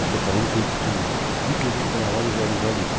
E estou falando com testemunho, porque fique gravado e realizado isso.